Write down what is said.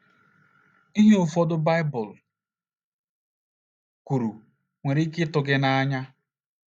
Ihe ụfọdụ Baịbụl kwuru nwere ike ịtụ gị n’anya.